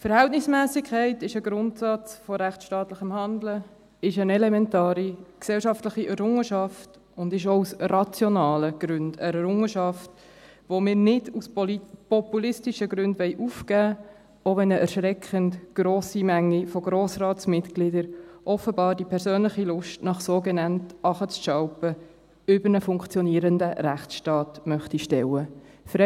Verhältnismässigkeit ist ein Grundsatz von rechtsstaatlichem Handeln, ist eine elementare gesellschaftliche Errungenschaft, und sie ist auch aus rationalen Gründen eine Errungenschaft, die wir nicht aus populistischen Gründen aufgeben wollen, auch wenn eine erschreckend grosse Menge von Grossratsmitgliedern offenbar die persönliche Lust nach sogenanntem Treten nach unten über einen funktionierenden Rechtsstaat stellen möchte.